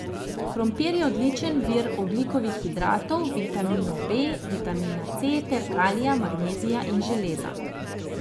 Krompir je odličen vir ogljikovih hidratov, vitaminov B, vitamina C ter kalija, magnezija in železa.